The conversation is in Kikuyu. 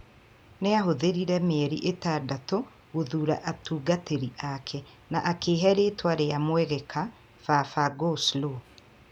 Nĩ aahũthĩrire mĩeri ĩtandatũ gũthuura atungatĩri ake. Na akĩehe rĩtwa rĩa mwegeka "Baba-Go-Slow".